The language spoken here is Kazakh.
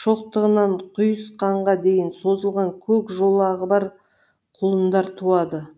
шоқтығынан құйысқанға дейін созылған көк жолағы бар құлындар туады